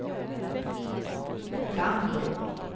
Gambro